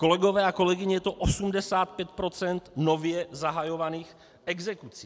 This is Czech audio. Kolegové a kolegyně, je to 85 % nově zahajovaných exekucí.